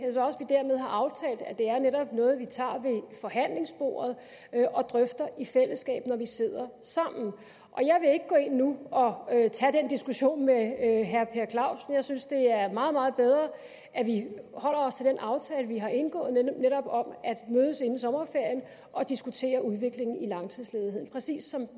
netop er noget vi tager ved forhandlingsbordet og drøfter i fællesskab når vi sidder sammen og jeg vil ikke gå ind nu og tage den diskussion med herre per clausen jeg synes det er meget meget bedre at vi holder os til den aftale vi har indgået netop om at mødes inden sommerferien og diskutere udviklingen i langtidsledigheden præcis som